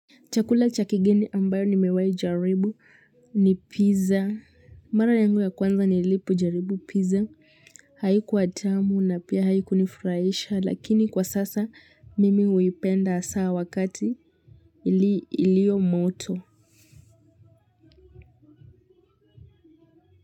Chakula chakigeni ambayo ni mewai jaribu ni pizza. Mara yangu ya kwanza ni lipo jaribu pizza. Haiku tamu na pia haiku nifuraisha. Lakini kwa sasa mimi uipenda saa wakati ilio moto.